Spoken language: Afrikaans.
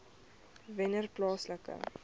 wennerplaaslike